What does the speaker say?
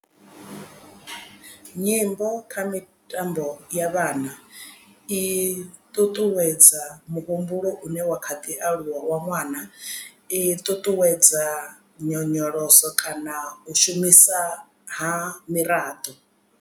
Nyimbo kha mitambo ya vhana i ṱuṱuwedza muhumbulo u ne wa kha ḓi aluwa wa ṅwana i ṱuṱuwedza nyonyoloso kana u shumisa ha miraḓo.